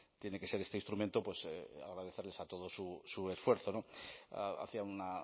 tiene que ser este instrumento pues agradecerles a todos su esfuerzo no hacía una